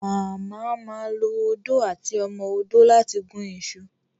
mama má lọ Odó àti ọmọ odó lati gún iṣu